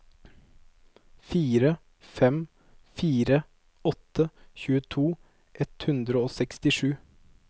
fire fem fire åtte tjueto ett hundre og sekstisju